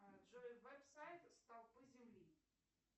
джой веб сайт столпы земли